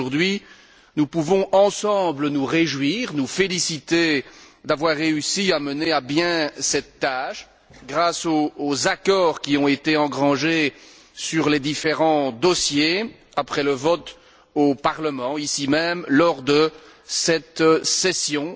Aujourd'hui, nous pouvons ensemble nous réjouir, nous féliciter d'avoir réussi à mener à bien cette tâche grâce aux accords qui ont été engrangés sur les différents dossiers, après le vote au Parlement, ici même, lors de cette session.